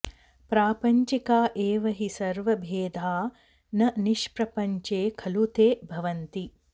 प्रापञ्चिका एव हि सर्वभेदा न निष्प्रपञ्चे खलु ते भवन्ति